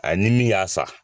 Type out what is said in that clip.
A ni min ya san.